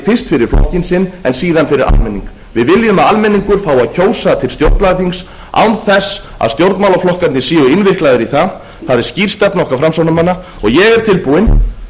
fyrst fyrir flokkinn sinn en síðan fyrir almenning við viljum að almenningur fái að kjósa til stjórnlagaþings án þess að stjórnmálaflokkarnir séu innviklaðir í það það er skýr stefna okkar framsóknarmanna og ég er tilbúinn